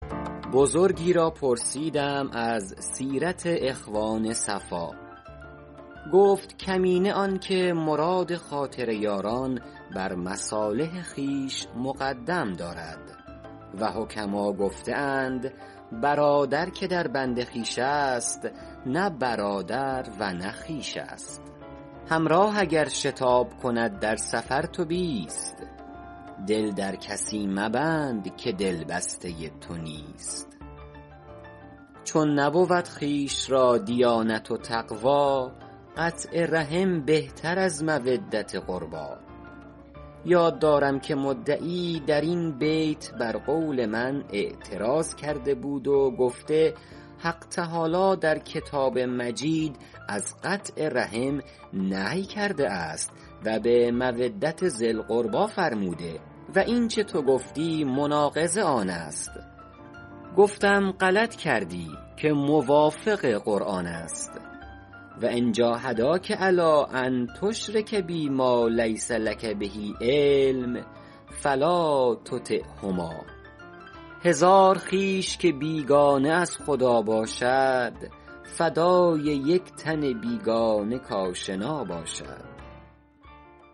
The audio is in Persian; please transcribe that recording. بزرگی را پرسیدم از سیرت اخوان صفا گفت کمینه آن که مراد خاطر یاران بر مصالح خویش مقدم دارد و حکما گفته اند برادر که در بند خویش است نه برادر و نه خویش است همراه اگر شتاب کند همره تو نیست دل در کسی مبند که دل بسته تو نیست چون نبود خویش را دیانت و تقوی قطع رحم بهتر از مودت قربی یاد دارم که مدعی در این بیت بر قول من اعتراض کرده بود و گفته حق تعالی در کتاب مجید از قطع رحم نهی کرده است و به مودت ذی القربی فرموده و اینچه تو گفتی مناقض آن است گفتم غلط کردی که موافق قرآن است و ان جاهداک علی ان تشرک بی ما لیس لک به علم فلا تطعهما هزار خویش که بیگانه از خدا باشد فدای یک تن بیگانه کآشنا باشد